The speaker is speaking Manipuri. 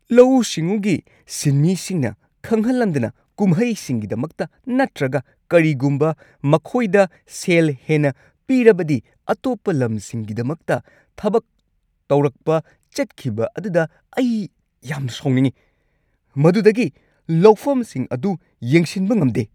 ꯂꯧꯎꯁꯤꯡꯎꯒꯤ ꯁꯤꯟꯃꯤꯁꯤꯡꯅ ꯈꯪꯍꯟꯂꯝꯗꯅ ꯀꯨꯝꯍꯩꯁꯤꯡꯒꯤꯗꯃꯛꯇ ꯅꯠꯇ꯭ꯔꯒ ꯀꯔꯤꯒꯨꯝꯕ ꯃꯈꯣꯏꯗ ꯁꯦꯜ ꯍꯦꯟꯅ ꯄꯤꯔꯕꯗꯤ ꯑꯇꯣꯞꯄ ꯂꯝꯁꯤꯡꯒꯤꯗꯃꯛꯇ ꯊꯕꯛ ꯇꯧꯔꯛꯄ ꯆꯠꯈꯤꯕ ꯑꯗꯨꯗ ꯑꯩ ꯌꯥꯝꯅ ꯁꯥꯎꯅꯤꯡꯏ ꯫ ꯃꯗꯨꯗꯒꯤ ꯂꯧꯐꯝꯁꯤꯡ ꯑꯗꯨ ꯌꯦꯡꯁꯤꯟꯕ ꯉꯝꯗꯦ꯫